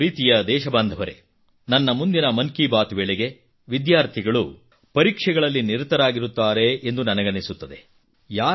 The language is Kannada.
ನನ್ನ ಪ್ರೀತಿಯ ದೇಶ ಬಾಂಧವರೇ ನನ್ನ ಮುಂದಿನ ಮನ್ ಕಿ ಬಾತ್ ವೇಳೆಗೆ ವಿದ್ಯಾರ್ಥಿಗಳು ಪರೀಕ್ಷೆಗಳಲ್ಲಿ ನಿರತರಾಗಿರುತ್ತಾರೆ ಎಂದು ನನಗನಿಸುತ್ತದೆ